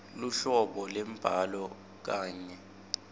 luhlobo lwembhalo kanye